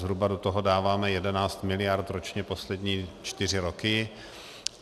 Zhruba do toho dáváme 11 miliard ročně poslední čtyři roky.